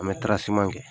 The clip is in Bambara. An bɛ kɛ